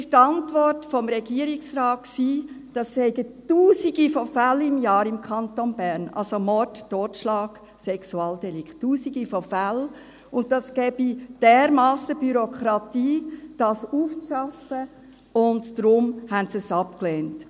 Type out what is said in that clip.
Die Antwort des Regierungsrates war, dies seien Tausende von Fällen pro Jahr im Kanton Bern, also Mord, Totschlag, Sexualdelikte: Tausende von Fällen, und es gebe dermassen Bürokratie, dies auszuarbeiten, und darum lehnten sie es abgelehnt.